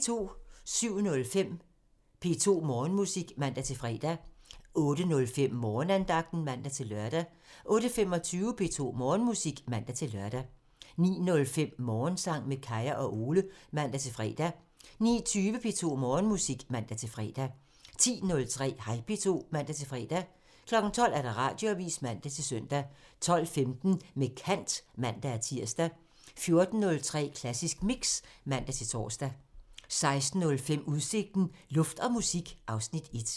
07:05: P2 Morgenmusik (man-fre) 08:05: Morgenandagten (man-lør) 08:25: P2 Morgenmusik (man-lør) 09:05: Morgensang med Kaya og Ole (man-fre) 09:20: P2 Morgenmusik (man-fre) 10:03: Hej P2 (man-fre) 12:00: Radioavisen (man-søn) 12:15: Med kant (man-tir) 14:03: Klassisk Mix (man-tor) 16:05: Udsigten – Luft og musik (Afs. 1)